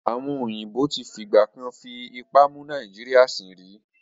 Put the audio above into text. Àwọn èèbó tí fìgbà kan fipá mú Nàìjíríyà sìn rí